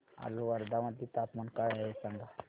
आज वर्धा मध्ये तापमान काय आहे सांगा